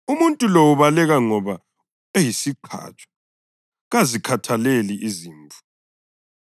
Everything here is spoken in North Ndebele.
Umuntu lo ubaleka ngoba eyisiqhatshwa, kazikhathaleli izimvu.